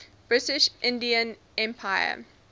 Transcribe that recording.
british indian empire